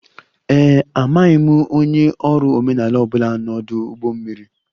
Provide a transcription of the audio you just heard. Ee e, amaghị m onye ọrụ omenala ọ bụla n'ọdụ ụgbọ mmiri